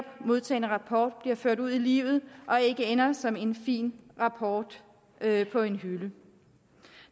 modtagne rapport bliver ført ud i livet og ikke ender som en fin rapport på en hylde